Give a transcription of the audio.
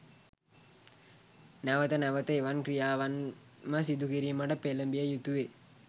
නැවත නැවත එවන් ක්‍රියාවන්ම සිදුකිරීමට පෙළඹිය යුතුවේ.